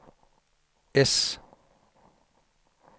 S